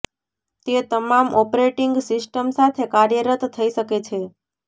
તે તમામ operating system સાથે કાર્યરત થઇ શકે છે